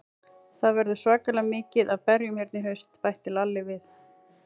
Það verður svakalega mikið af berjum hérna í haust, bætti Lalli við.